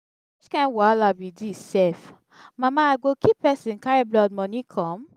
which kin wahala be dis sef mama i go kill person carry blood money come?